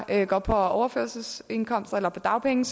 er på overførselsindkomst eller dagpenge